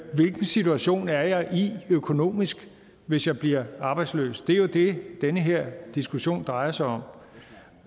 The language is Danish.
hvilken situation er jeg i økonomisk hvis jeg bliver arbejdsløs det er jo det den her diskussion drejer sig om